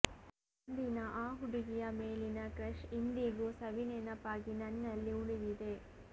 ಅಂದಿನ ಆ ಹುಡುಗಿಯ ಮೇಲಿನ ಕ್ರಶ್ ಇಂದಿಗೂ ಸವಿನೆನಪಾಗಿ ನನ್ನಲ್ಲಿ ಉಳಿದಿದೆ